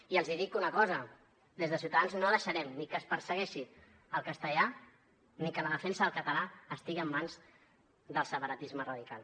i els dic una cosa des de ciutadans no deixarem ni que es persegueixi el castellà ni que la defensa del català estigui en mans del separatisme radical